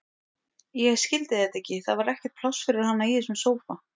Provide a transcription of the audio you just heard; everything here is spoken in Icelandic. Ég skildi þetta ekki, það var ekkert pláss fyrir hana í þessum sófa.